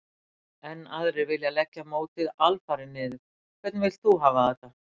Enn aðrir vilja leggja mótið alfarið niður. Hvernig vilt þú hafa þetta?